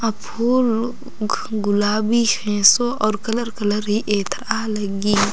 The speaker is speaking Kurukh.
अ फूल गुलाबी खेंसो और कलर कलर ही एथरा लग्गी--